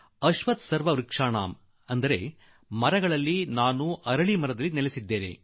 ಅಶ್ವಥ್ತಃ ಸರ್ವವೃಕ್ಷಾಣಾಂ ಅಂದರೆ ಸಕಲ ಮರಗಳಲ್ಲೆಲ್ಲಾ ಅರಳಿಯ ಮರವೇ ಶ್ರೇಷ್ಠ